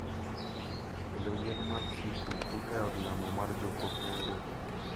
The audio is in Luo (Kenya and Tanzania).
Kelo yien mar skuku e od lamo mar jokopere.